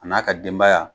A n'a ka denbaya